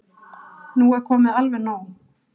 Nú er komið alveg nóg!